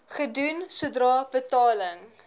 gedoen sodra betaling